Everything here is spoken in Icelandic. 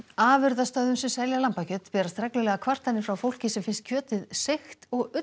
afurðastöðvum sem selja lambakjöt berast reglulega kvartanir frá fólki sem finnst kjötið seigt og ullarbragð